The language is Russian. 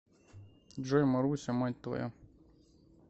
джой маруся мать твоя